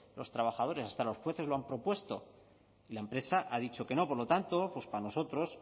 los trabajadores hasta los jueces lo han propuesto y la empresa ha dicho que no por lo tanto para nosotros